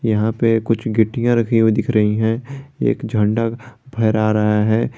यहां पे कुछ गिट्टियां रखी हुई दिख रही है एक झंडा फहरा रहा है।